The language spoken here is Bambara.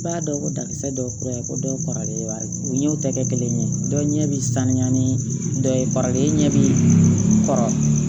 I b'a dɔn ko dankisɛ dɔw kura in ko dɔw kɔrɔlen u y'u tɛgɛ kelen ye dɔ ɲɛ bi sanuya ni dɔ ye e ɲɛ bi kɔrɔ